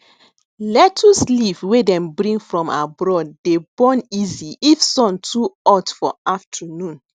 lettuce leaf wey dem bring from abroad dey burn easy if sun too ot for afternoon